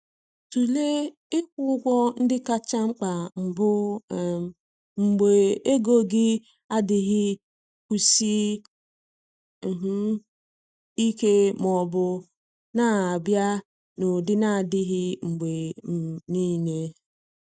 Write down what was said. Tụlee ịkwụ ụgwọ ndị kacha mkpa mbụ um mgbe ego gị adịghị kwụsie um ike ma ọ bụ na-abịa n’ụdị na-adịghị mgbe um niile.